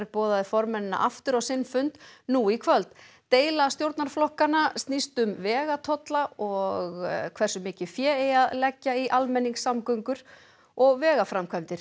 boðaði formennina aftur á sinn fund nú í kvöld deila stjórnarflokkanna snýst um vegatolla og hversu mikið fé eigi að leggja í almenningssamgöngur og vegaframkvæmdir